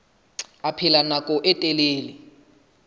a phela nako e telele